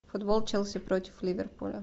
футбол челси против ливерпуля